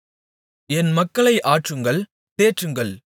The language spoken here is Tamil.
என் மக்களை ஆற்றுங்கள் தேற்றுங்கள்